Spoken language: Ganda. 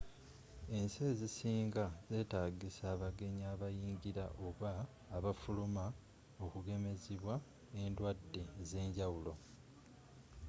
ensi ezisinga zetagisa abagenyi abayingila oba abafuluma okugemezibwa endwadde ezenjawulo